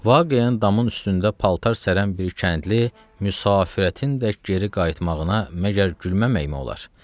Vaqəən damın üstündə paltar sərən bir kəndli, müsafiətin də geri qayıtmağına məgər gülməməkmi olar?